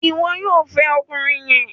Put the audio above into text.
Ìwo yóò fè ọkùnrin yén!